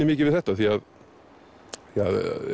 mikið við þetta